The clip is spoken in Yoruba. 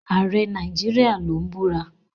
Ààrẹ Nigeria ló ń búra.